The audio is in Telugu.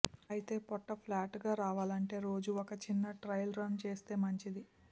అయితే పొట్ట ఫ్లాట్గా రావాలంటే రోజు ఒక చిన్న ట్రయల్ రన్ చేస్తే మంచిది